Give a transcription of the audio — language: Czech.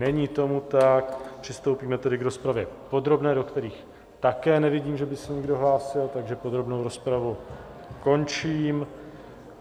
Není tomu tak, přistoupíme tedy k rozpravě podrobné, do které také nevidím, že by se někdo hlásil, takže podrobnou rozpravu končím.